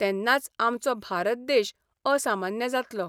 तेन्नाच आमचो भारत देश असामान्य जातलो.